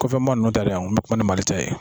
Kɔfɛma nunnu taalen a, n ko bɛ kuma ni mali ta ye.